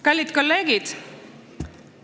Kallid kolleegid!